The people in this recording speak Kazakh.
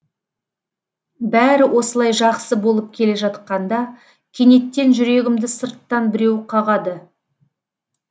бәрі осылай жақсы болып келе жатқанда кенеттен жүрегімді сырттан біреу қағады